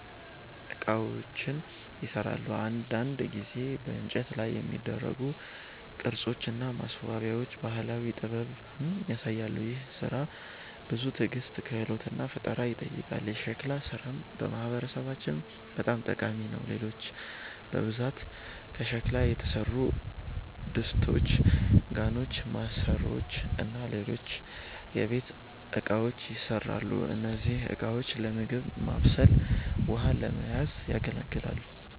ዕቃዎችን ይሠራሉ። አንዳንድ ጊዜ በእንጨት ላይ የሚደረጉ ቅርጾች እና ማስዋቢያዎች ባህላዊ ጥበብን ያሳያሉ። ይህ ሥራ ብዙ ትዕግስት፣ ክህሎት እና ፈጠራ ይጠይቃል። የሸክላ ሥራም በማህበረሰባችን በጣም ታዋቂ ነው። ሴቶች በብዛት ከሸክላ የተሠሩ ድስቶች፣ ጋኖች፣ ማሰሮዎች እና ሌሎች የቤት እቃዎችን ይሠራሉ። እነዚህ ዕቃዎች ለምግብ ማብሰል ውሃ ለመያዝ ያገለግላል